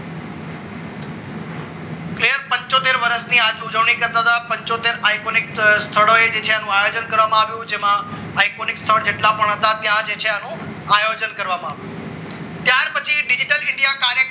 પંચોતેર વર્ષ ની આજ ઉજવણી કરતા પંચોતેર iconic સ્થળો છે એનું આયોજન કરવામાં આવ્યું હતું તેમાં હાઇકોનિક્સ માં જેટલા પણ હતા ત્યાં છે એનો આયોજન કરવામાં આવ્યું હતું. ત્યાર પછી ડિજિટલ ઇન્ડિયા ખાતે